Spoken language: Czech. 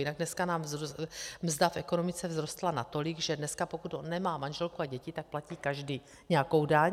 Jinak dneska nám mzda v ekonomice vzrostla natolik, že dneska pokud on nemá manželku a děti, tak platí každý nějakou daň.